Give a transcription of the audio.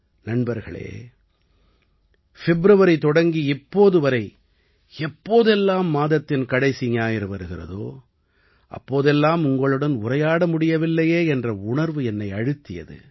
நண்பர்களே ஃபிப்ரவரி தொடங்கி இப்போது வரை எப்போதெல்லாம் மாதத்தின் கடைசி ஞாயிறு வருகிறதோ அப்போதெல்லாம் உங்களுடன் உரையாட முடியவில்லையே என்ற உணர்வு என்னை அழுத்தியது